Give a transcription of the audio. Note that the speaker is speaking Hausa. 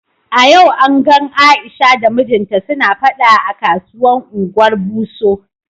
A yau an gan Aisha da mijinta suna fada a kasuwan Ungwar Buso.